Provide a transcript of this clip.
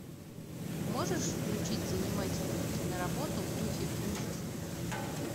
можешь включить занимательную киноработу в духе ужасов